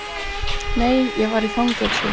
Nei, ég var í fangelsi.